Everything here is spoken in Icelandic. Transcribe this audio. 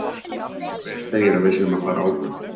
Hver segir að við séum að fara áfram?